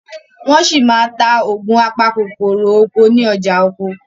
wón sí tá Ògùn apakòkòrò oko ní ọjà ọkọ̀.